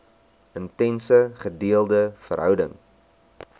intense gedeelde verhouding